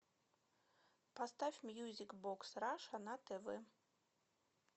поставь мьюзик бокс раша на тв